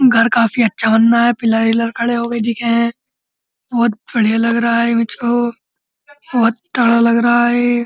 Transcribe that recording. घर कफी अच्छा बन रहा है। पिलर वीलर खड़े हो गए दिखे हैं। बहोत बढ़ियाँ लग रहा है। बहोत तगड़ा रहा है ये ।